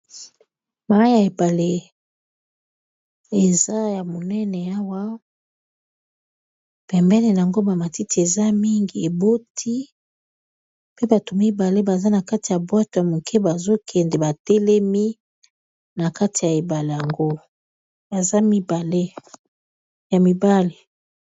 Mayi ya ebale eza ya monene awa, pembeni nango ba matiti eza mingi eboti pe bato mibale baza na kati ya buatu ya moke bazo kende ba telemi na kati ya ebale yango baza mibale ya mibali.